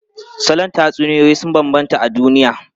Salon tatsuniyoyi sun bambanta a duniya.